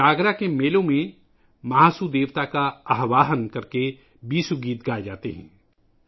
جاگرا کے میلوں میں مہاسو دیوتا کا آہوان کرکے بیسو گیت گائے جاتے ہیں